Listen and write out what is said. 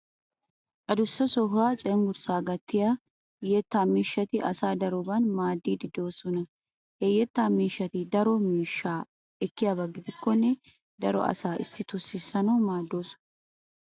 Adussa sohuwa cenggurssaa gattiya yettaa miishshati asaa daroban maaddiiddi de'oosona. Ha yettaa miishshati daro miishshaa ekkiyaba gidikkonne daro asaa issitoo sissanawu maaddoosona.